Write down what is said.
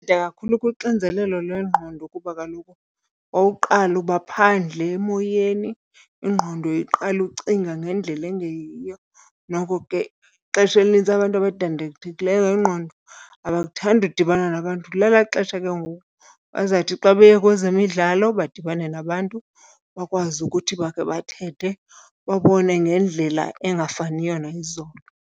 kakhulu kuxinzelelo lwengqondo kuba kaloku okokuqala uba phandle emoyeni ingqondo iqale ucinga ngendlela engeyiyo. Noko ke ixesha elinintsi abantu abadandathekileyo ngengqondo abakuthandi udibana nabantu, lelaa xesha ke ngoku bazawuthi xa beye kwezemidlalo badibane nabantu bakwazi ukuthi bakhe bathethe babone ngendlela engafaniyo nayizolo.